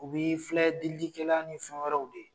U bi filɛ dilikɛla ni fɛn wɛrɛw de ye